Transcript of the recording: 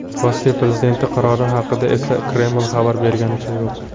Rossiya prezidenti qarori haqida esa Kreml xabar berganicha yo‘q.